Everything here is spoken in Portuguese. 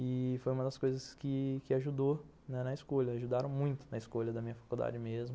E foi uma das coisas que ajudou na escolha, ajudaram muito na escolha da minha faculdade mesmo.